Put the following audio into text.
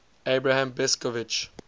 abram besicovitch